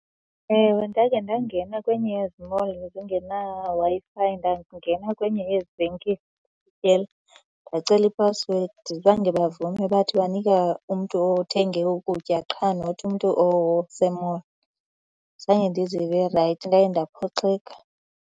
Ewe, ndake ndangena kwenye yezi mall zingenaWi-Fi, ndangena kwenye yezi venkile ndacela ipasiwedi. Zange bavume. Bathi banika umntu othenge ukutya qha not umntu ose-mall. Zange ndizive rayithi, ndaye ndaphoxeka.